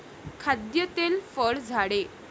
खाद्यतेल फळ झाडे